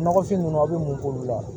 Nɔgɔfin ninnu aw bɛ mun k'olu la